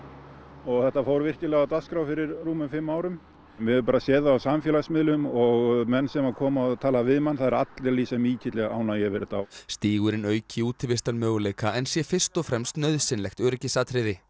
og þetta fór virkilega á dagskrá fyrir rúmum fimm árum við höfum bara séð það á samfélagsmiðlum og menn sem koma og tala við mann að það eru allir að lýsa mikilli ánægju með þetta stígurinn auki útivistarmöguleika en sé fyrst og fremst nauðsynlegt öryggisatriði